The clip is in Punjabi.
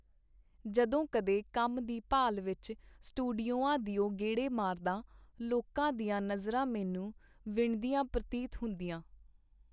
ਜਦੋਂ ਕਦੇ ਕੰਮ ਦੀ ਭਾਲ ਵਿਚ ਸਟੂਡੀਉਆਂ ਦੇ ਗੇੜੇ ਮਾਰਦਾ, ਲੋਕਾਂ ਦੀਆਂ ਨਜ਼ਰਾਂ ਮੈਨੂੰ ਵਿੰਨ੍ਹਦੀਆਂ ਪਰਤੀਤ ਹੁੰਦੀਆਂ.